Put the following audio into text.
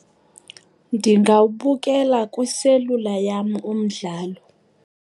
Ndingawubukela kwiselula yam umdlalo.